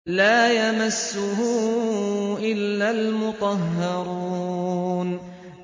لَّا يَمَسُّهُ إِلَّا الْمُطَهَّرُونَ